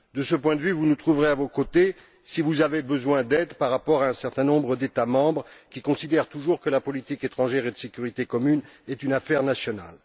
De ce point de vue, vous nous trouverez à vos côtés si vous avez besoin d'aide face à un certain nombre d'États membres qui considèrent toujours que la politique étrangère et de sécurité commune est une affaire nationale.